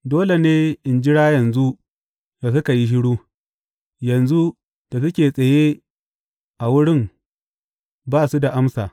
Dole ne in jira yanzu da suka yi shiru, yanzu da suke tsaye a wurin ba su da amsa.